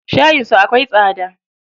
Shayin su akwai tsada.